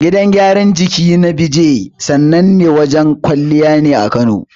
Gidan gyaran jiki na Beejay, sanannen wajen kwalliya ne a Kano.